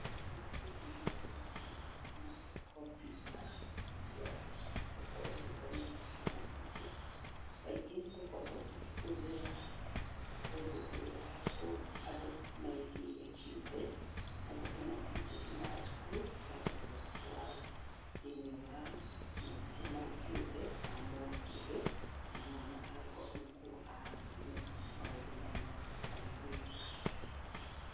Macukuru-inĩ maitũ matirĩ na makompyuta cia gũkorwo igĩthomerwo nĩ ciana ciitũ. Kaingĩ tũkoragwo tũkĩhũthĩra kũndũ kũrĩa andũ meeigĩire kĩũmbe. Kwoguo ciana ciitũ ciumaga thukuru, tũgacoka gũcitwara mathukuru mau kĩũmbe, ma mũndũ kĩũmbe na mwana agakorwo nĩkuo athomera maũndũ mau ma kompyuta.